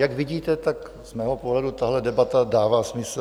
Jak vidíte, tak z mého pohledu tato debata dává smysl.